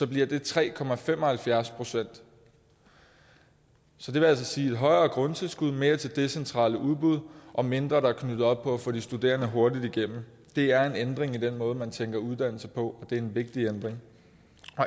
bliver det tre procent så det vil altså sige et højere grundtilskud mere til det centrale udbud og mindre der er knyttet op på at få de studerende hurtigere igennem det er en ændring i den måde man tænker uddannelse på og det er en vigtig ændring